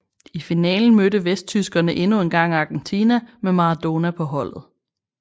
I finalen mødte vesttyskerne endnu engang Argentina med Maradona på holdet